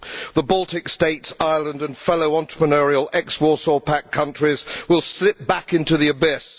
The Baltic States, Ireland and fellow entrepreneurial ex Warsaw Pact countries would slip back into the abyss.